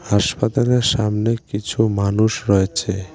হাসপাতালের সামনে কিছু মানুষ রয়েছে।